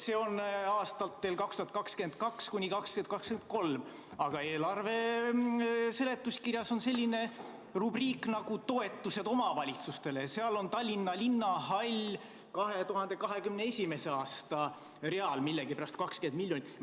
See on plaanis aastatel 2022–2023, aga eelarve seletuskirjas on selline rubriik nagu toetused omavalitsustele, seal on Tallinna Linnahallile millegi pärast 2021. aasta real 20 miljonit.